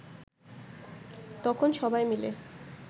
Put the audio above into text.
তখন সবাই মিলে